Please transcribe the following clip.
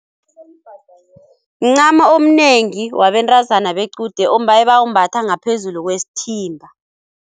Mncamo omnengi wabentazana bequde ebawumbatha ngaphezulu kwesithimba.